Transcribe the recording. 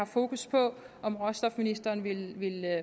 fokus på om råstofministeren vil